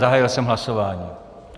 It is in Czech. Zahájil jsem hlasování.